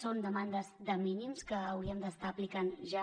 són demandes de mínims que hauríem d’estar aplicant ja